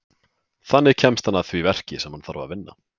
Þannig kemst hann að því verki sem hann þarf að vinna.